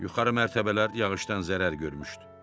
Yuxarı mərtəbələr yağışdan zərər görmüşdü.